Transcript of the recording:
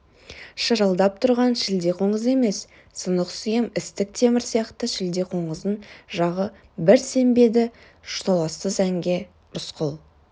шырылдап тұрған шілдеқоңыз емес сынық сүйем істік темір сияқты шілдеқоңыздың жағы бір сембеді толассыз әнге рысқұл